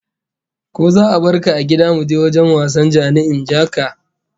Ko za'a barka a gida muje wajen wasan ja-ni-in-ja-ka?